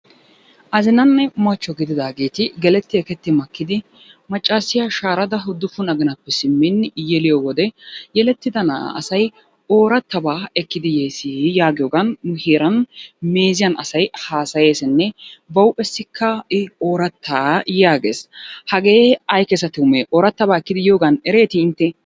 Azinanne machcho gididaageeti geletti eketti makkidi maccaasiya shaarada uddufun aginappe simmin yeliyo wode yelettida na'aa asay oorattabaa ekkidi yeesi yaagiyogan nu heeran meeziyan asay haasayeesinne ba huuphessikka I oorattaa yaagees. Hagee ay keesa tumee? Oorattabaa ekkidi yiyogan ereetii intte?